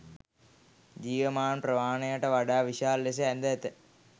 ජීවමාන ප්‍රමාණයට වඩා විශාල ලෙස ඇඳ ඇත.